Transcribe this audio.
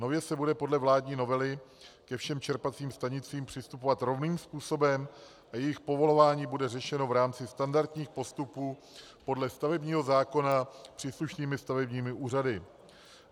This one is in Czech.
Nově se bude podle vládní novely ke všem čerpacím stanicím přistupovat rovným způsobem a jejich povolování bude řešeno v rámci standardních postupů podle stavebního zákona příslušnými stavebními úřady.